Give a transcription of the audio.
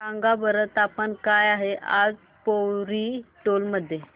सांगा बरं तापमान काय आहे आज पोवरी टोला मध्ये